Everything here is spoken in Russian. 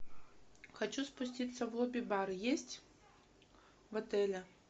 хочу спуститься в лобби бар есть в отеле